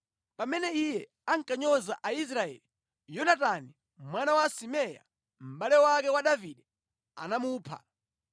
Pamene iye ankanyoza Aisraeli, Yonatani mwana wa Simea, mʼbale wake wa Davide anamupha.